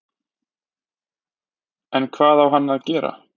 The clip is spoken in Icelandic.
En hvað á hann að gera?